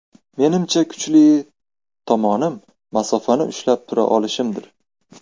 Menimcha, kuchli tomonim masofani ushlab tura olishimdir.